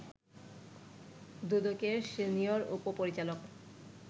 দুদকের সিনিয়র উপ-পরিচালক